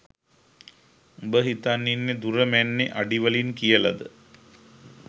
උඹ හිතන් ඉන්නෙ දුර මැන්නෙ අඩි වලින් කියලද?